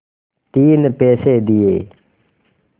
तीन पैसे दिए